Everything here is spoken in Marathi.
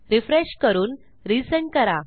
रिफ्रेश करून रिसेंड करा